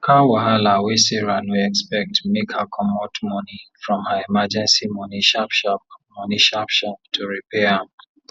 car wahala wey sarah no expect make her comot money from her emergency money sharp sharp money sharp sharp to repair am